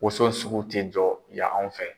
Woson sugu tɛ jɔ yan anw fɛ .